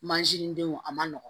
Manzin denw a man nɔgɔn